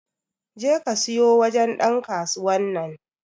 je ka siyo wajen Dan kasuwan nan.